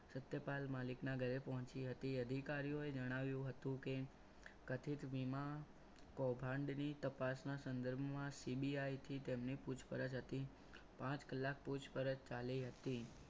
સત્યપાલ મલિક ના ઘરે પહોંચી હતી અધિકારીઓએ જણાવ્યું હતું કે કથિત વીમા કંભંડની તપાસના સંદર્ભમાં CBI થી તેમની પૂછપરછ હતી પાંચ કલાક પૂછપરછ ચાલી હતી.